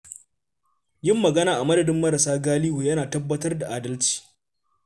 Yin magana a madadin marasa galihu yana tabbatar da adalci.